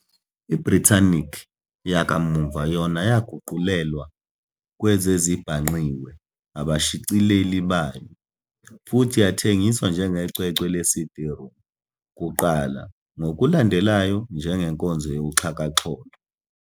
I-"Britannica" yakamuva yona yaguqulelwa kwezezibhangqiwe abashicileli bayo, futhi yathengiswa njengecwecwe le-CD-ROM kuqala, ngokulandelayo njengenkonzo yakuxhakaxholo.